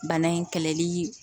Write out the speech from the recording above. Bana in kɛlɛli